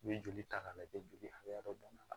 N'i ye joli ta k'a lajɛ joli hakɛ dɔ la